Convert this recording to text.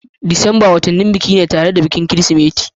Disamba watanni ne na biki tare da bikin Kirsimeti